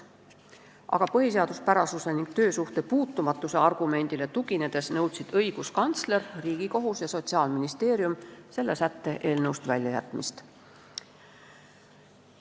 Aga põhiseaduspärasuse ning töösuhte puutumatuse argumendile tuginedes nõudsid õiguskantsler, Riigikohus ja Sotsiaalministeerium selle sätte eelnõust väljajätmist.